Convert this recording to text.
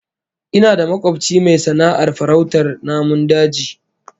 Ina da makobci mai sana'ar farautar namun daji